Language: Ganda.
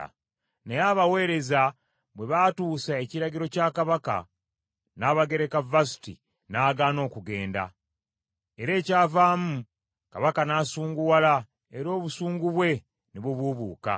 Naye abaweereza bwe baatuusa ekiragiro kya kabaka, Nnabagareka Vasuti n’agaana okugenda. Era ekyavaamu kabaka n’asunguwala, era obusungu bwe ne bubuubuuka.